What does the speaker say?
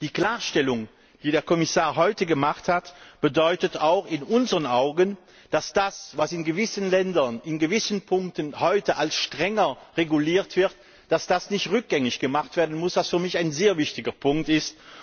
Die Klarstellung, die der Kommissar heute gemacht hat, bedeutet auch in unseren Augen, dass das, was in gewissen Ländern in gewissen Punkten heute als strenger reguliert wird, dass das nicht rückgängig gemacht werden muss, was für mich ein sehr wichtiger Punkt ist.